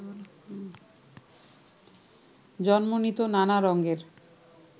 জন্ম নিত নানা রঙের